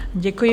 Děkuji.